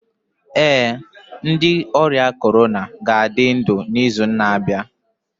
Ee, ndị ọrịa corona ga-adị ndụ n'izu na-abịa